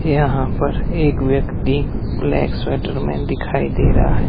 यहां पर एक व्यक्ति ब्लैक स्वेटर में दिखाई दे रहा है।